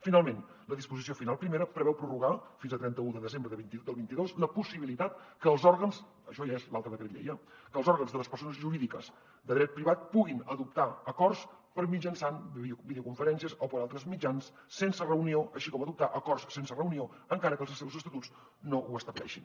finalment la disposició final primera preveu prorrogar fins a trenta un de desembre del vint dos la possibilitat això ja és l’altre decret llei eh que els òrgans de les persones jurídiques de dret privat puguin adoptar acords mitjançant videoconferències o per altres mitjans sense reunió així com adoptar acords sense reunió encara que els seus estatuts no ho estableixin